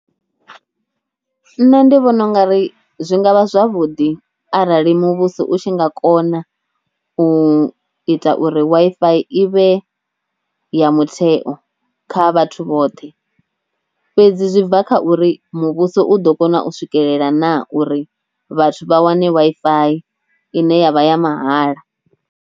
Nṋe ndi vhona ungari zwi nga vha zwavhuḓi arali muvhuso u tshi nga kona u ita uri Wi-Fi i vhe ya mutheo kha vhathu vhoṱhe, fhedzi zwi bva kha uri muvhuso u ḓo kona u swikelela na uri vhathu vha wane Wi-Fi ine yavha ya mahala.